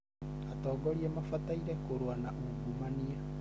Atongoria mabataire kũrũa na ungumania.